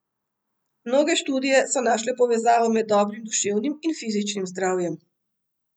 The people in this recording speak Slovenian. Mnoge študije so našle povezavo med dobrim duševnim in fizičnim zdravjem.